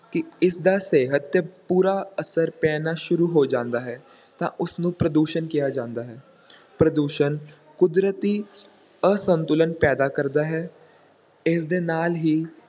ਕਿ ਇਸ ਦਾ ਸਿਹਤ ‘ਤੇ ਬੁਰਾ ਅਸਰ ਪੈਣਾ ਸ਼ੁਰੂ ਹੋ ਜਾਂਦਾ ਹੈ, ਤਾਂ ਉਸ ਨੂੰ ਪ੍ਰਦੂਸ਼ਣ ਕਿਹਾ ਜਾਂਦਾ ਹੈ ਪ੍ਰਦੂਸ਼ਣ ਕੁਦਰਤੀ ਅਸੰਤੁਲਨ ਪੈਦਾ ਕਰਦਾ ਹੈ, ਇਸ ਦੇ ਨਾਲ ਹੀ